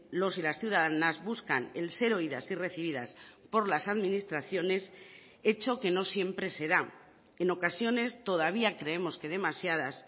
los y las ciudadanas buscan el ser oídas y recibidas por las administraciones hecho que no siempre se da en ocasiones todavía creemos que demasiadas